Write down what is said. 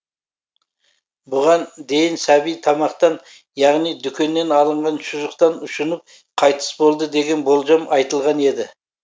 бұған дейін сәби тамақтан яғни дүкеннен алынған шұжықтан ұшынып қайтыс болды деген болжам айтылған еді